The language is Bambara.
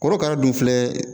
Korokara dun filɛ